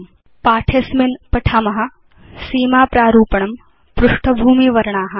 अस्मिन् पाठे वयं पठिष्याम सीमा प्रारूपणं पृष्ठभूमिवर्णा